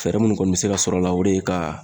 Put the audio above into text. Fɛɛrɛ munnu kɔni be se ka sɔrɔ a la, o de ye ka